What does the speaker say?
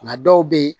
Nga dɔw bɛ yen